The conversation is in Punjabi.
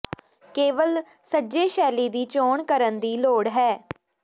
ਕੇਵਲ ਸੱਜੇ ਸ਼ੈਲੀ ਦੀ ਚੋਣ ਕਰਨ ਦੀ ਲੋੜ ਹੈ